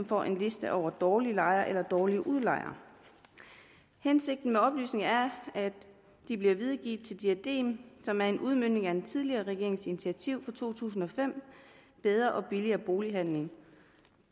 får en liste over dårlige lejere eller dårlige udlejere hensigten med oplysningerne er at de bliver videregivet til diadem som er en udmøntning af den tidligere regerings initiativ fra to tusind og fem bedre og billigere bolighandel